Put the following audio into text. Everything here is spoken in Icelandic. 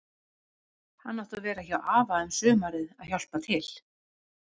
Hann átti að vera hjá afa um sumarið að hjálpa til.